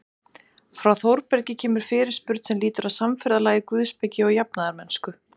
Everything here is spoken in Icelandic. Frá Þórbergi kemur fyrirspurn sem lýtur að samferðalagi guðspeki og jafnaðarmennsku.